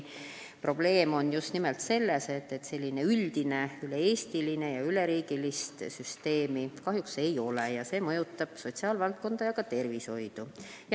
Probleem on just nimelt selles, et sellist üldist üleriigilist süsteemi kahjuks ei ole, see mõjutab sotsiaalvaldkonda ja ka tervishoidu.